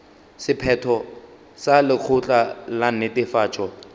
sephetho sa lekgotla la netefatšo